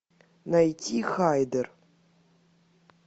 найти хайдер